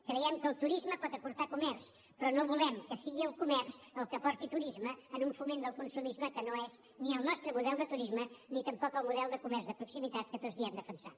creiem que el turisme pot aportar comerç però no volem que sigui el comerç el que porti turisme en un foment del consumisme que no és ni el nostre model de turisme ni tampoc el model de comerç de proximitat que tots diem defensar